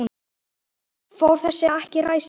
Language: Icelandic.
Fór þessi ekki ræsið?